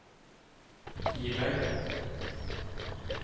Kiberg